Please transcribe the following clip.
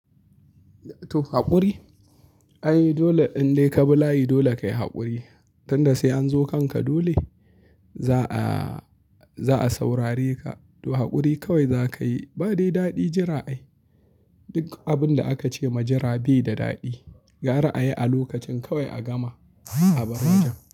To haƙuri? Ai dole in dai ka bi layi dole kayi haƙuri. Tun da sai an zo kanka dole za a, za a saurare ka. To haƙuri kawai za ka yi. Ba dai daɗi jira ai. Duk abin da aka ce ma jira bai da daɗi. Gara a yi a lokacin kawai a gama a bar wajen.